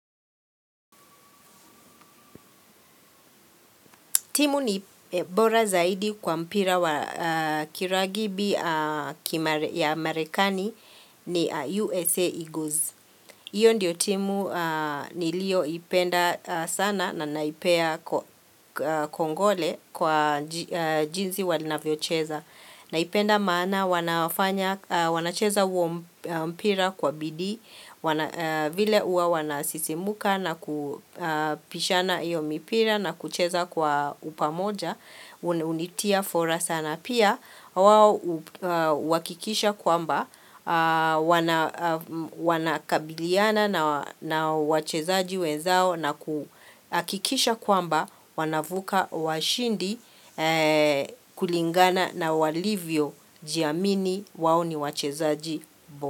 Timu ni bora zaidi kwa mpira wa kiragibi ya Amerikani ni USA Eagles. Hiyo ndio timu niliyoipenda sana na naipea kongole kwa jinsi wanavyocheza. Naipenda maan wanacheza huo mpira kwa bidii vile huwa wanasisimuka na kupishana hiyo mipira na kucheza kwa upamoja, hunitia fora sana. Pia, wao hukikisha kwamba wana wanakabiliana na wachezaji wenzao na kuhakikisha kwamba wanavuka washindi kulingana na walivyo jiamini wao ni wachezaji.